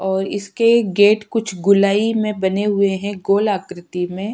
ओर इसके गेट कुछ गुलई मे बने हुए है गोल आकृति में।